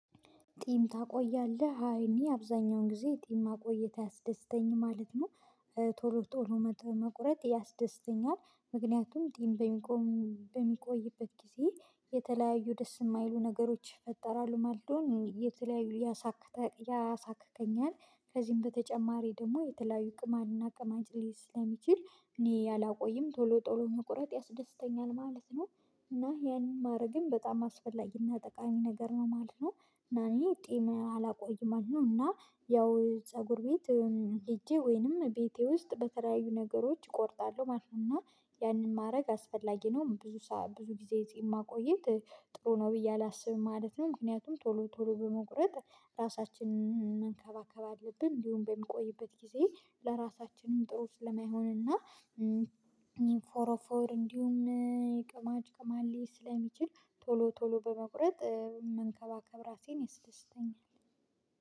ጢም ታቆያለህ አይ እኔ አብዛኛውን ጊዜ ጢም ማቆየት አያስደስተኝም ማለት ነው። ቶሎ ቶሎ መቁረጥ ያስደስተኛል ምክንያቱም በሚቆይበት ጊዜ የተለያዩ ደስ የማይሉ ነገሮች ፈጠራሉ ማለት ነው። የተለያዩ ያሳክከኛል ከዚህም በተጨማሪ ደግሞ የትላዩ ቅማንና ቅማጭ ላይ ስለሚችል እኔ አላቆይም ቶሎ ቶሎ መቁረጥ ያስደስተኛል ማለት ነው። እና ያንን ማድረግም በጣም አስፈላጊና ጠቃሚ ነገር ነው ማለት ነው። እና እኔ ጢም አላቆይም ማለት ነው። እና ያው ፀጉር ቤት ሄጄ ወይንም ቤቴ ውስጥ በተለያዩ ነገሮች እቆርጣለሁ ማለት ነው። እና ያንን ማድረግ አስፈላጊ ነው ብዙ ብዙ ጊዜ ጺም ማቆየት ጥሩ ነው ብዬ አላስብም። ማለትም ምክንያቱም ቶሎ ቶሎ በመቁረጥ ራሳችንን መንከባከብ አለብን እንዲሁም በምቆይበት ጊዜ ለራሳችንም ጥሩ ስለማይሆንና ፎሮፎር እንዲሁም ቅማጭ ቅማል ስለሚችል ቶሎ ቶሎ በመቁረጥ መንከባከብ ራሴን ይስደስተኛል